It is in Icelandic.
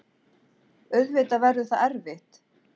Auðvitað verður það erfitt.